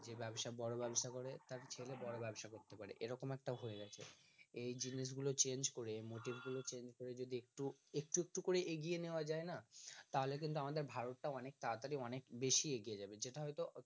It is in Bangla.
যে ব্যবসা করে বড় ব্যবসা করে তার ছেলে বড় ব্যবসা করে এরকম একটা হয়ে গেছে এই জিনিসগুলো change করে motive গুলো change করে যদি একটু একটু একটু করে এগিয়ে নেওয়া যায়না তাহলে কিন্তু আমাদের ভারত টা অনেক তাড়াতাড়ি অনেক বেশি এগিয়ে যাবে যেটা হয়তো